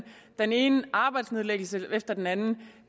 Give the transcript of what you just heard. den ene arbejdsnedlæggelse efter den anden